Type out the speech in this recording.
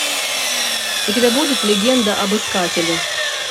у тебя будет легенда об искателе